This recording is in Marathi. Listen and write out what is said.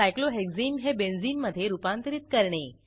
सायक्लोहेक्सने हे बेन्झीन मधे रूपांतरित करणे